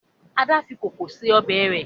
Ada fí kókò ṣe Ọbẹ̀ re.